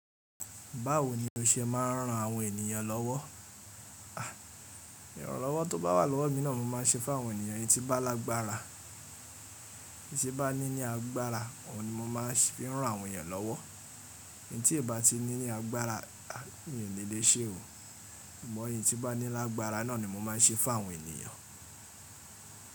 Báwo ni o ṣe máa ń ran àwọn ènìyàn lọ́wọ́? Ìrànlọ́wọ́ tó bá wà lọ́wọ́ mi náà mo máa n ṣe fún àwọn ènìyàn tí bá lágbára. Tí bá ní ní agbára, òun ni mo máa fi ń rán àwọn èyàn lọ́wọ́. Eyi tí n bá ti ní ní agbára, mi ò ní le ṣe o. Imọ̀ eyi tí bá ní lágbára náà ni mo máa ń ṣe fún àwọn ènìyàn.